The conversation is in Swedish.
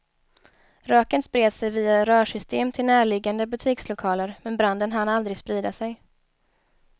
Röken spred sig via rörsystem till närliggande butikslokaler, men branden hann aldrig sprida sig.